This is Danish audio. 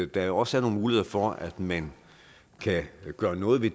der også er nogle muligheder for at man kan gøre noget ved